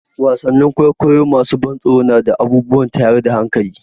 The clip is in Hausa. Wasannin kwaikwayon masu ban tsoro na da abubuwan tayar da hankali.